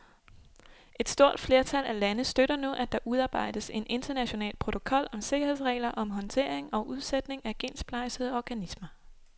Et stort flertal af lande støtter nu, at der udarbejdes en international protokol om sikkerhedsregler om håndtering og udsætning af gensplejsede organismer.